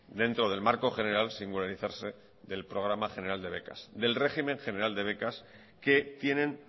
dentro del marco general del régimen general de becas que tienen